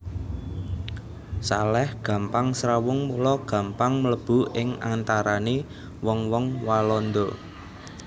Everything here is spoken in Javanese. Salèh gampang srawung mula gampang mlebu ing antarané wong wong Walanda